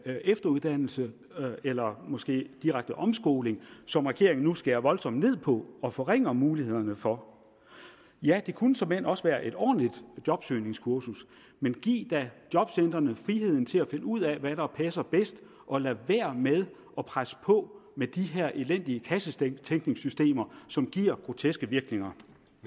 efteruddannelse eller måske direkte omskoling som regeringen nu skærer voldsomt ned på og forringer mulighederne for ja det kunne såmænd også være et ordentligt jobsøgningskursus men giv da jobcentrene friheden til at finde ud af hvad der passer bedst og lad være med at presse på med de her elendige kassetænkningssystemer som giver groteske virkninger